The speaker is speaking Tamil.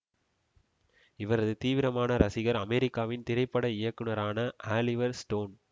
இவரது தீவிரமான ரசிகர் அமெரிக்காவின் திரைப்பட இயக்குனரான ஆலிவர் ஸ்டோன்